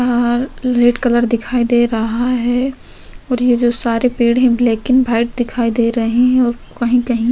यहाँ red colour दिखाई दे रहा है और ये जो सारे पेड़ हैं ब्लैक एंड भाइट दिखाई दे रहे हैं और कहीं-कहीं --